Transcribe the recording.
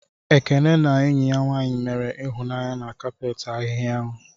Ekene na enyi ya nwanyị mere ịhụnanya na kapet ahịhia ahụ.